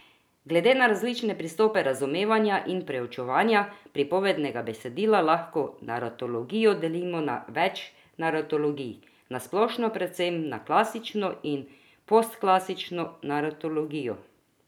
Glede na različne pristope razumevanja in preučevanja pripovednega besedila lahko naratologijo delimo na več naratologij, na splošno predvsem na klasično in postklasično naratologijo.